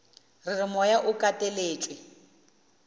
re re moya o kateletšwe